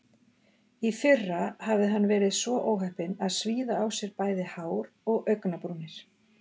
Í fyrra hafði hann verið svo óheppinn að svíða á sér bæði hár og augnabrúnir.